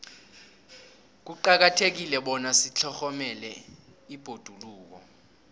kuqakathekile bona sitlhogomele ibhoduluko